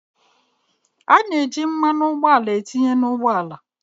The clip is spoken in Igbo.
A na-eji mmanụ ụgbọala etinye n’ ụgbọala